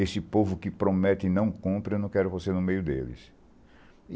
Esse povo que promete e não cumpre, eu não quero você no meio deles.